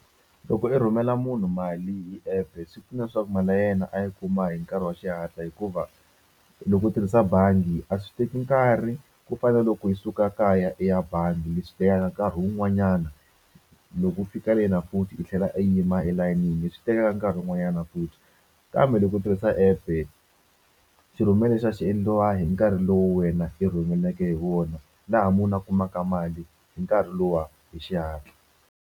Loko i rhumela munhu mali hi app-e swi pfuna swa ku mali ya yena a yi kuma hi nkarhi wa xihatla hikuva loko u tirhisa bangi a swi teki nkarhi ku fana na loko i suka kaya i ya bangi leswi tekaka nkarhi wun'wanyana loko u fika le na futhi i tlhela i yima elayinini leswswi tekaka nkarhi wun'wanyana futhi kambe loko u tirhisa app-e xi rhumela lexiya xi endliwa hi nkarhi lowu wena i rhumeleke hi wona laha munhu a kumaka mali hi nkarhi luwa hi xihatla.